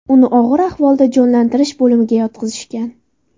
Uni og‘ir ahvolda jonlantirish bo‘limiga yotqizishgan.